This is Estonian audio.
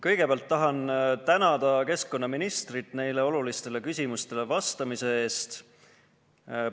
Kõigepealt tahan tänada keskkonnaministrit neile olulistele küsimustele vastamise eest.